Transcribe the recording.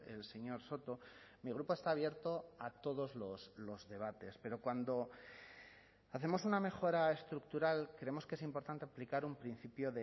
el señor soto mi grupo está abierto a todos los debates pero cuando hacemos una mejora estructural creemos que es importante aplicar un principio